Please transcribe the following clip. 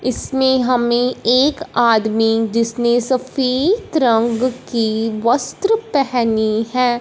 इसमें हमें एक आदमी जिसने सफेद रंग की वस्त्र पहनी है।